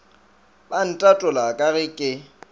ba ntatola ka ge ke